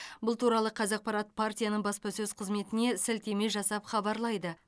бұл туралы қазақпарат партияның баспасөз қызметіне сілтеме жасап хабарлайды